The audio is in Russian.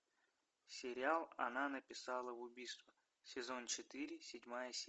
сериал она написала убийство сезон четыре седьмая